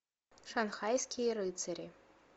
шанхайские рыцари